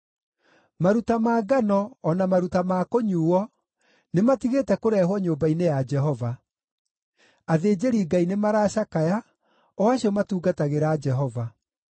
Maruta ma ngano, o na maruta ma kũnyuuo nĩmatigĩte kũrehwo nyũmba-inĩ ya Jehova. Athĩnjĩri-Ngai nĩmaracakaya, o acio matungatagĩra Jehova.